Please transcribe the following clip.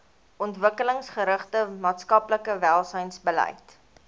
ontwikkelingsgerigte maatskaplike welsynsbeleid